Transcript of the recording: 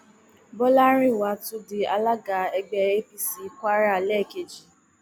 bọlárìnwá tún di alága ẹgbẹ apc kwara lẹẹkejì